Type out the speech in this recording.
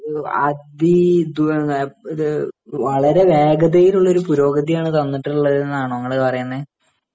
വളരെ വേഗതയിലുള്ളൊരു പുരോഗതിയാണ് വന്നിട്ടുള്ളതു എന്നാണോ നിങ്ങള് പറയുന്നേ